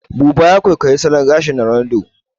Buba ya kwaikwayi salon gyaran gashin Ronaldo